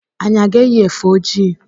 anyị a ga-eyi efe ojii?